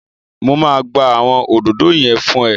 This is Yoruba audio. Mo máa gbá àwọn òdòdó yẹn fún ẹ